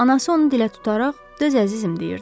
Anası onu dilə tutaraq, "Döz, əzizim" deyirdi.